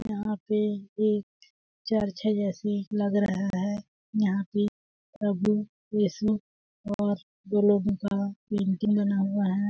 यहाँ पे एक चर्च है जैसे लग रहा है यहाँ पे प्रभु यीशु और दो लोगों का पेंटिंग बना हुआ है।